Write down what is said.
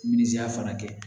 Minza fana kɛ